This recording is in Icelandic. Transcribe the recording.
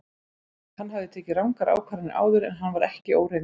Hann hafði tekið rangar ákvarðanir áður en hann var ekki óreyndur.